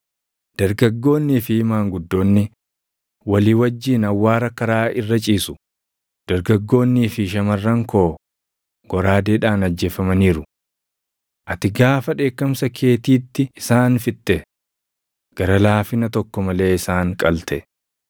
“Dargaggoonnii fi maanguddoonni, walii wajjin awwaara karaa irra ciisu; dargaggoonnii fi shamarran koo goraadeedhaan ajjeefamaniiru. Ati gaafa dheekkamsa keetiitti isaan fixxe; gara laafina tokko malee isaan qalte.